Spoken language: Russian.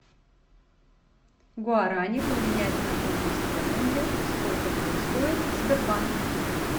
гуарани поменять на фунты стерлинги сколько будет стоить в сбербанке